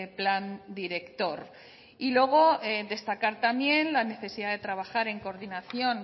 plan director y luego destacar también la necesidad de trabajar en coordinación